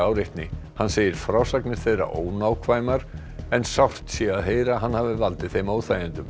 áreitni hann segir frásagnir þeirra ónákvæmar en sárt sé að heyra að hann hafi valdið þeim óþægindum